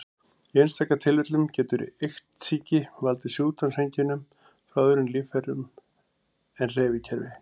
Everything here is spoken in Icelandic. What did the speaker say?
Í einstaka tilvikum getur iktsýki valdið sjúkdómseinkennum frá öðrum líffærum en hreyfikerfi.